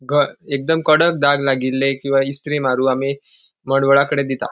घ एकदम कडक दाग लागिल्ले किंवा इस्तरी मारू आमी मडवळाकडे दीता.